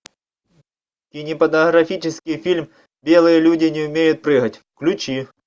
кинематографический фильм белые люди не умеют прыгать включи